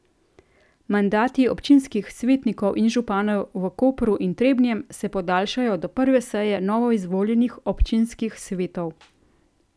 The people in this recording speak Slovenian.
Mandati občinskih svetnikov in županov v Kopru in Trebnjem se podaljšajo do prve seje novoizvoljenih občinskih svetov.